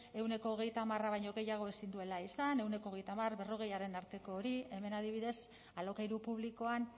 ehuneko hogeita hamarra baino gehiago ezin duela izan ehuneko hogeita hamarberrogeiaren arteko hori hemen adibidez alokairu publikoan